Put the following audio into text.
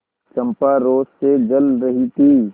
चंपा रोष से जल रही थी